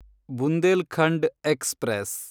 Bundelkhand express